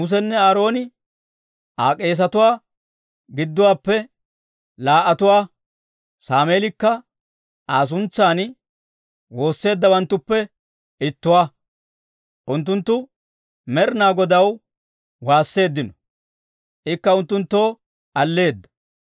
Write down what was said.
Musenne Aaroone Aa k'esetuwaa gidduwaappe laa"atuwaa; Sameelikka Aa suntsan woosseeddawanttuppe ittuwaa. Unttunttu Med'inaa Godaw waasseeddino; ikka unttunttoo alleeda.